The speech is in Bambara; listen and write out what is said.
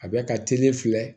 A bɛ ka teli filɛ